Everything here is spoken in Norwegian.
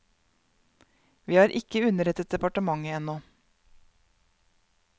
Vi har ikke underrettet departementet ennå.